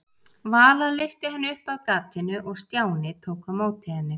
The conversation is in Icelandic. Vala lyfti henni upp að gatinu og Stjáni tók á móti henni.